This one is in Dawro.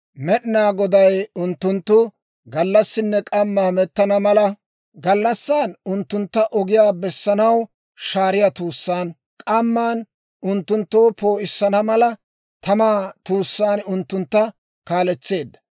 Med'inaa Goday unttunttu gallassinne k'amma hamettana mala, gallassan unttuntta ogiyaa bessanaw shaariyaa tuussaan, k'amman unttunttoo poo'issana mala tamaa tuussaan unttuntta kaaletseedda.